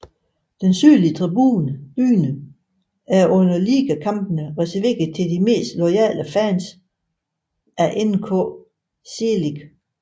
Den sydlige tribune er under ligakampene reserveret til de mest loyale fans af NK Čelik